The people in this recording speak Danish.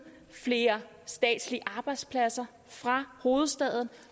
flere statslige arbejdspladser fra hovedstaden